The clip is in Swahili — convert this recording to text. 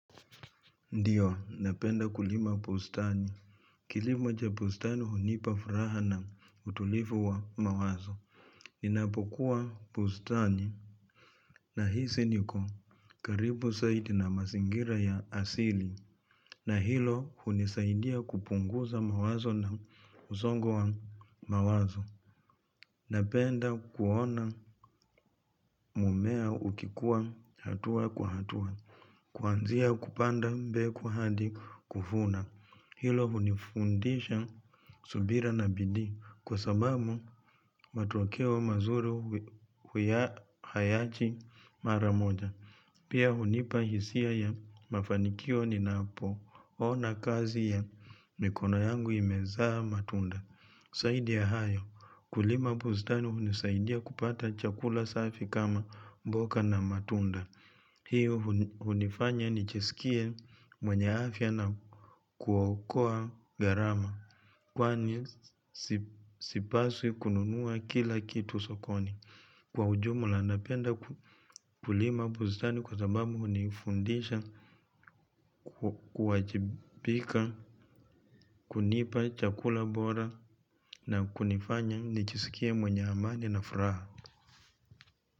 Ndiyo, napenda kulima bustani. Kilimo cha bustani hunipa furaha na utulivu wa mawazo. Ninapokuwa bustani. Nahisi niko karibu zaidi na mazingira ya asili. Na hilo hunisaidia kupunguza mawazo na msongo wa mawazo. Napenda kuona mmea ukikua hatua kwa hatua. Kuanzia kupanda mbegu hadi kuvuna. Hilo hunifundisha subira na bidii kwa sababu matokeo mazuri hayaji maramoja. Pia hunipa hisia ya mafanikio ninapoona kazi ya mikono yangu imezaa matunda. Zaidi ya hayo, kulima bustani hunisaidia kupata chakula safi kama mboga na matunda. Hiyo hunifanya nijisikie mwenye afya na kuokoa gharama kwani sipaswi kununua kila kitu sokoni. Kwa ujumla napenda kulima bustani kwa sababu hunifundisha kuwajibika kunipa chakula bora na kunifanya nijiskie mwenye amani na furaha.